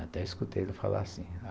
Até escutei ele falar assim.